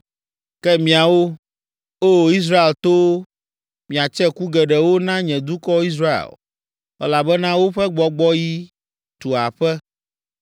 “Ke miawo, O! Israel towo, miatse ku geɖewo na nye dukɔ Israel, elabena woƒe gbɔgbɔɣi tu aƒe.